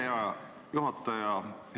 Hea juhataja!